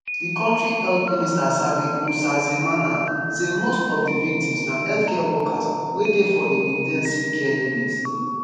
di kontri health minister sabin nsanzimana say most of di victims na healthcare workers wey dey for di in ten sive care unit